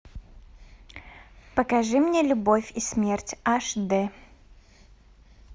покажи мне любовь и смерть аш дэ